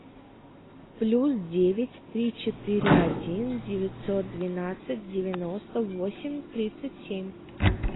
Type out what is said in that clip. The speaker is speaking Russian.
плюс девять три четыре один девятьсот двенадцать девяносто восемь тридцать семь